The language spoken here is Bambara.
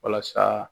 Walasa